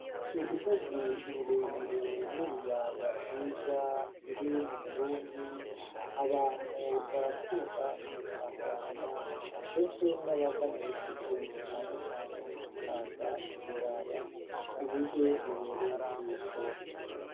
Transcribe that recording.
Imisozi mire mire n'ibiyaya vyiza biri mu Burundi, abantu barakunda kubitangarira ndetse nabava mu bihugu bitandukanye bakaza kubiraba uburyo bibereye ijisho.